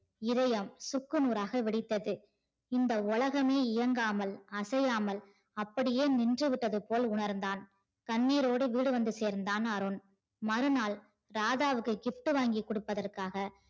இதயம் சுக்குநூறாக வெடித்தது இந்த உலகமே இயங்காமல் அசையாமல் அப்படியே நின்று விட்டது போல் உணர்ந்தான் கண்ணீரோடு வீடு வந்து சேர்ந்தான் அருண் மறுநாள் ராதாவுக்கு gift வாங்கிக் கொடுப்பதற்காக